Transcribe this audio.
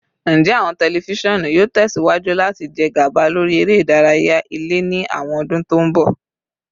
Njẹ awọn tẹlifisiọnu yoo tẹsiwaju lati jẹ gaba lori ere idaraya ile ni awọn ọdun to n bọ?